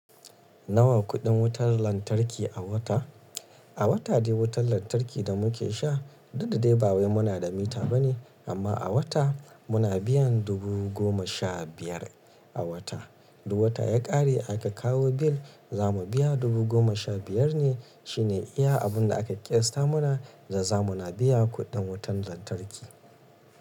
Nawa kuɗin wutar lantarki a wata? A wata dai wutar lantarki da muke sha daɗi dai ba wai muna da mita ba ne, amma a wata muna biyan dubu goma sha biyar a wata. Duk wata ya ƙare aka kawo bil za mu biya dubu goma sha biyar ne. Shi ne iya abun da aka ƙiyasta mana da za muna biya kuɗin wutar lantarki.